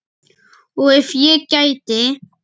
Og ef ég gæti?